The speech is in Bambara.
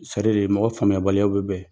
mɔgɔ faamuyabaliyaw bɛ bɛn